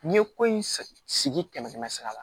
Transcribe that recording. N'i ye ko in sigi sigi kɛmɛ kɛmɛ sara la